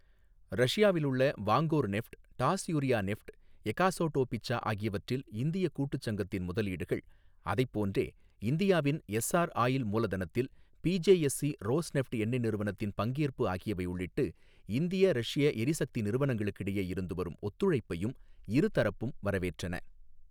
ரஷியாவிலுள்ள Vankorneft, Taas Yuryakhneft எகாஸோடோபிச்சா ஆகியவற்றில் இந்திய கூட்டுச் சங்கத்தின் முதலீடுகள், அதைப் போன்றே இந்தியாவின் எஸ்ஸார் ஆயில் மூலதனத்தில் பிஜேஎஸ்சி ரோஸ்நெஃப்ட் எண்ணெய் நிறுவனத்தின் பங்கேற்பு ஆகியவை உள்ளிட்டு இந்திய ரஷ்ஷிய எரிசக்தி நிறுவனங்களுக்கிடையே இருந்து வரும் ஒத்துழைப்பையும் இருதரப்பும் வரவேற்றன.